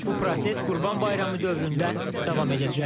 Bu proses Qurban Bayramı dövründə davam edəcək.